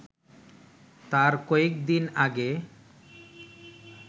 তার কয়েকদিন আগে